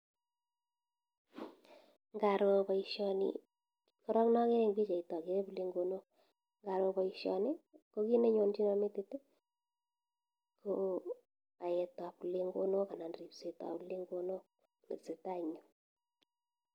Ngaroo baishoni , korok kit nakere en pichait akere plengonok ngaro baishoni ko kit nenonchina metit ko paet ap plengono anan ripset ap plengonok netesatai en yu.